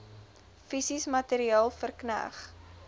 fisies materieel verkneg